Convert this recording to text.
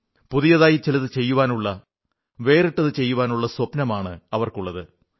പുതിയതായി ചിലതു ചെയ്യാനുള്ള വേറിട്ടതു ചെയ്യാനുള്ള സ്വപ്നമാണവർക്കുള്ളത്